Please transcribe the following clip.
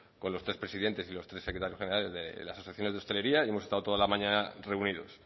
con los tres presidentes y los tres secretarios generales de las asociaciones de hostelería y hemos estado toda la mañana reunidos